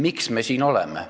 Miks me siin oleme?